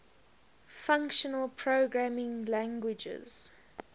functional programming languages